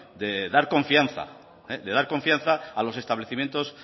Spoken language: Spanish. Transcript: de dar confianza de dar confianza a los establecimientos